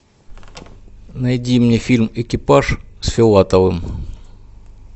найди мне фильм экипаж с филатовым